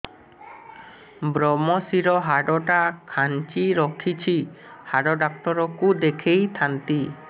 ଵ୍ରମଶିର ହାଡ଼ ଟା ଖାନ୍ଚି ରଖିଛି ହାଡ଼ ଡାକ୍ତର କୁ ଦେଖିଥାନ୍ତି